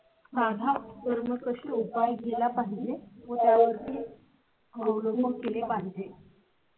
आधारावर मग कशी उपाय केला पाहिजे होत्या ओळ. हो हो तिथे पाहिजे.